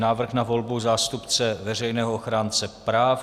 Návrh na volbu zástupce Veřejného ochránce práv